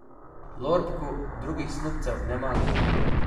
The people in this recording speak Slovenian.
Lorbku drugih snubcev ne manjka.